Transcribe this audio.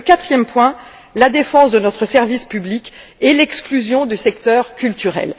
Et le quatrième point, la défense de notre service public et l'exclusion du secteur culturel.